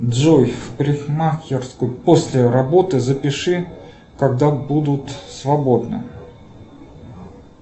джой в парикмахерскую после работы запиши когда будут свободны